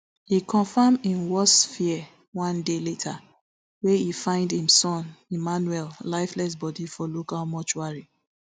e confam im worst fear one day later wen e find im son emmanuel lifeless body for local mortuary